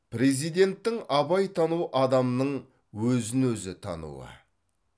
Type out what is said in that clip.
президенттің абай тану адамның өзін өзі тануы